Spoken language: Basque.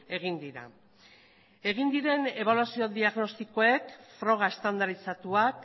egin dira egin diren ebaluazio diagnostikoek froga estandarizatuak